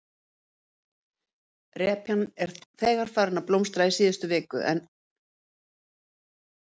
Repjan var þegar farin að blómstra í síðustu viku en henni var sáð í fyrrasumar?